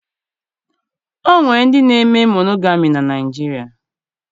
O nwere ndị na-eme monogami na Naịjirịa